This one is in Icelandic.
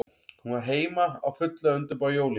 Hún var heima, á fullu að undirbúa jólin.